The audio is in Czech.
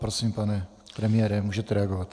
Prosím, pane premiére, můžete reagovat.